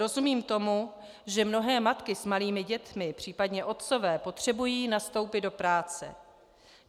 Rozumím tomu, že mnohé matky s malými dětmi, případně otcové, potřebují nastoupit do práce.